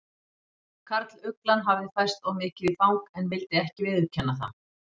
Karluglan hafði færst of mikið í fang en vildi ekki viðurkenna það.